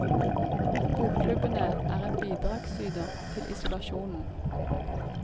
Bokklubbene er en bidragsyder til isolasjonen.